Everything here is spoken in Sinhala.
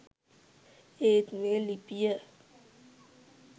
ඒත් මේ ලිපිය